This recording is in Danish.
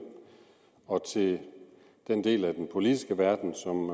og til den del af den politiske verden som